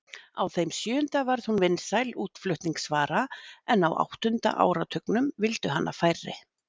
Á þeim sjöunda varð hún vinsæl útflutningsvara en á áttunda áratugnum vildu hana færri.